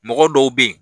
Mɔgɔ dɔw be yen